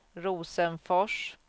Rosenfors